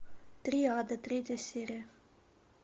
триада третья серия